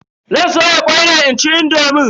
Zan soya kwai ne inci indomin.